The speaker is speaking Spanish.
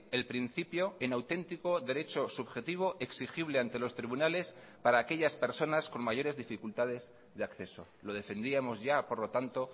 el principio en auténtico derecho subjetivo exigible ante los tribunales para aquellas personas con mayores dificultades de acceso lo defendíamos ya por lo tanto